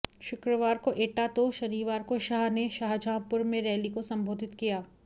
शुक्रवार को एटा तो शनिवार को शाह ने शाहजहांपुर में रैली को संबोधित किया